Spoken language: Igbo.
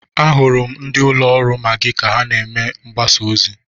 Ahụrụ m ndị ụlọ ọrụ Maggi ka ha na-eme mgbasa ozi.